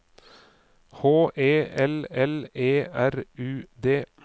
H E L L E R U D